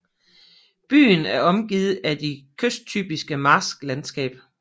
Byen er omgivet af det kysttypiske marsklandsskab